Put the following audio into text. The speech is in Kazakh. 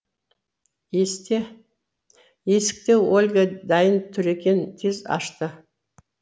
есікте ольга дайын тұр екен тез ашты